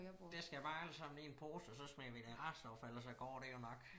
Det skal bare alt sammen ned i en pose og så smider vi det i restaffald og så går det jo nok